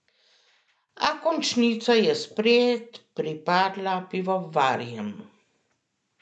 A končnica je spet pripadla pivovarjem.